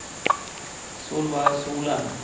Solveig Solem